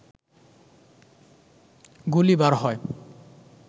গুলি বার হয়